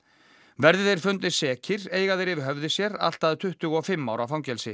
verði þeir fundnir sekir eiga þeir yfir höfði sér allt að tuttugu og fimm ára fangelsi